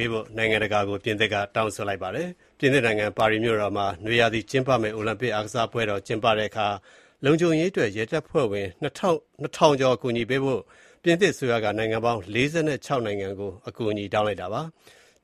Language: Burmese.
ေး နိုင်ငံတကာအကူအညီ တောင်းခံထား ပြင်သစ်နိုင်ငံ ပါရီမြို့တော်မှာ နွေရာသီကျင်းပမယ့် အိုလံပစ်အားကစားပွဲတော် ကျင်းပတဲ့အခါ လုံခြုံရေးအတွက် ရဲတပ်ဖွဲ့ဝင် ၂,၀၀၀ ကျော် ပေးပို့ ကူညီဖို့ ပြင်သစ်အစိုးရက နိုင်ငံပေါင်း ၄၆ နိုင်ငံကို အကူအညီတောင်းထားပါတယ်။